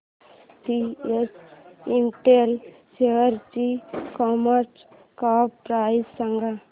SPS Intel शेअरची market cap price सांगा